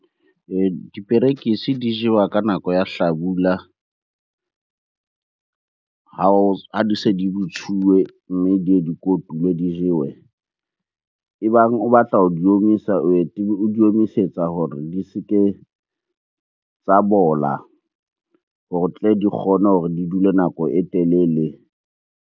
Diperekisi di jewa ka nako ya hlabula ha di se di botsuwe, mme di ye di kotulwe di jewe. E bang o batla ho di omisa o o di omisetsa hore di se ke tsa bola hore tle di kgone hore di dule nako e telele.